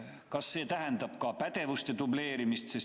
Kas see tähendab ka pädevuste dubleerimist?